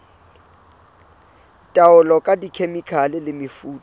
taolo ka dikhemikhale le mefuta